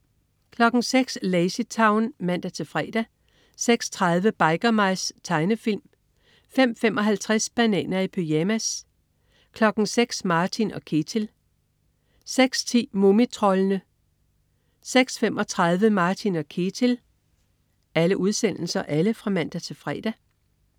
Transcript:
06.00 Lazy Town (man-fre) 06.30 Biker Mice. Tegnefilm (man-fre) 05.55 Bananer i pyjamas (man-fre) 06.00 Martin & Ketil (man-fre) 06.10 Mumitroldene (man-fre) 06.35 Martin & Ketil (man-fre)